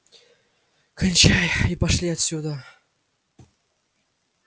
кончай и пошли отсюда